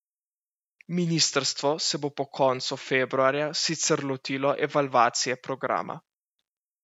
Ministrstvo se bo po koncu februarja sicer lotilo evalvacije programa.